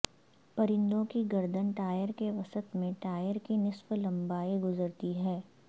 پرندوں کی گردن ٹائر کے وسط میں ٹائر کی نصف لمبائی گزرتی ہے